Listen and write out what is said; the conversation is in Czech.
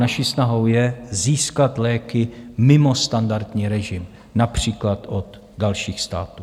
Naší snahou je získat léky mimo standardní režim, například od dalších států.